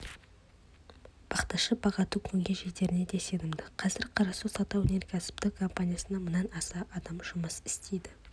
бақташы бағатын күнге жетеріне де сенімді қазір қарасу сауда-өнеркәсіптік компаниясында мыңнан аса адам жұмыс істейді